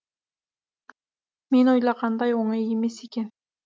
мен ойлағандай оңай емес екен